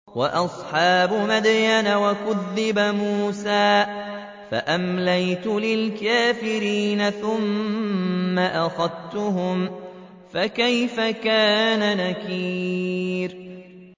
وَأَصْحَابُ مَدْيَنَ ۖ وَكُذِّبَ مُوسَىٰ فَأَمْلَيْتُ لِلْكَافِرِينَ ثُمَّ أَخَذْتُهُمْ ۖ فَكَيْفَ كَانَ نَكِيرِ